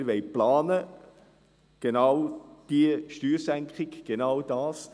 Wir wollen planen: genau diese Steuersenkung, genau das.